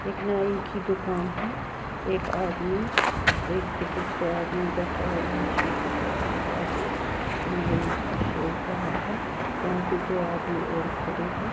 एक नाई की दुकान है एक आदमी एक दूसरे आदमी बैठा हुआ है शीशे के आगे तो नाई उसका शेव कर रहा है यहां पे दो आदमी और खड़े हैं।